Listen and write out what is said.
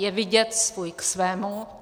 Je vidět - svůj k svému.